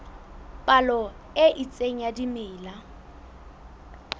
palo e itseng ya dimela